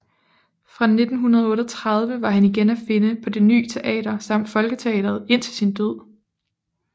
Fra 1938 var han igen at finde på Det Ny Teater samt Folketeatret indtil sin død